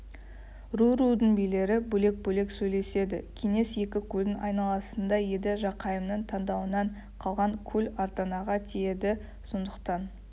ру-рудың билері бөлек-бөлек сөйлеседі кеңес екі көлдің айналасында еді жақайымның таңдауынан қалған көл арданаға тиеді сондықтан